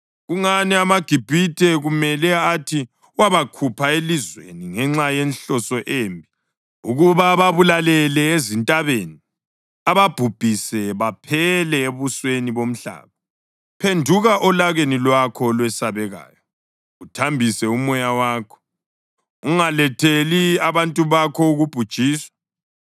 Kungani amaGibhithe kumele athi, ‘Wabakhupha elizweni ngenxa yenhloso embi ukuba ababulalele ezintabeni, ababhubhise baphele ebusweni bomhlaba’? Phenduka olakeni lwakho olwesabekayo, uthambise umoya wakho, ungaletheli abantu bakho ukubhujiswa.